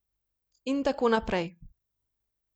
In tako naprej.